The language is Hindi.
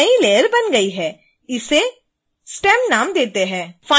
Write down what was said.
एक नई लेयर बन गई है इसे stem नाम देते हैं